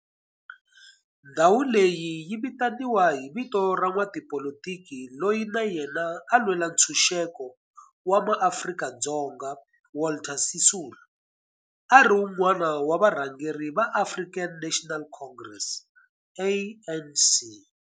Ndhawu leyi yi vitaniwa hi vito ra n'watipolitiki loyi na yena a lwela ntshuxeko wa maAfrika-Dzonga Walter Sisulu, a ri wun'wana wa varhangeri va African National Congress, ANC.